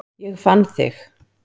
Ég fann þig